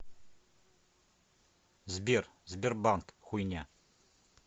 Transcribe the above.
сбер сбербанк хуйня